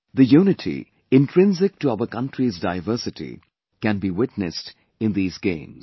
The unity, intrinsic to our country's diversity can be witnessed in these games